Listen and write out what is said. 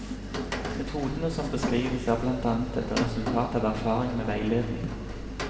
Metodene som beskrives, er blant annet et resultat av erfaring med veiledning.